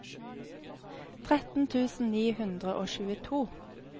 tretten tusen ni hundre og tjueto